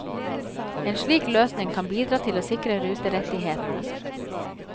En slik løsning kan bidra til å sikre ruterettighetene.